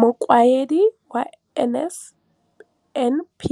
Mokaedi wa NSNP